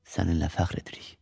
Səninlə fəxr edirik.